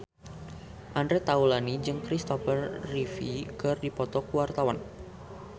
Andre Taulany jeung Kristopher Reeve keur dipoto ku wartawan